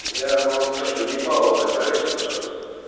я вам скажу ебало закройте пожалуйста